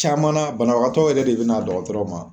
Caman na banabagatɔ yɛrɛ de be na dɔgɔtɔrɔ ma